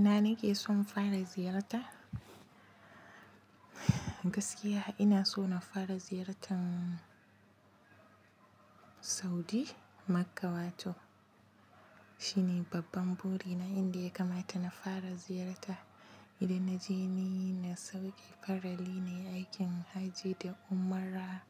Ina nake son fara ziyarta? Gaskiya ina so na fara ziyartan Saudi, Makka wato. Shi ne babban buri na inda ya kamata na fara ziyarta. Idan na je ni, na sauki farali ne aikin hajji da umra